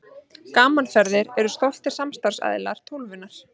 Gaman Ferðir eru stoltir samstarfsaðilar Tólfunnar.